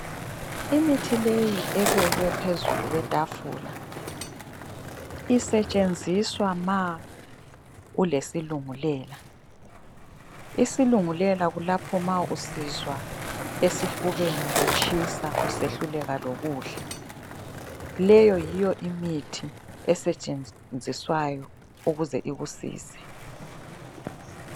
Imithi leyi ebekwe phezulu kwetafula isetshenziswa ma ulesilungulela, isilungulela kulapho ma usizwa esifubeni kutshisa usehluleka lokudla. Leyo yiyo imithi esetshenziswayo ukuze ikusize